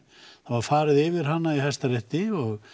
það var farið yfir hana í Hæstarétti og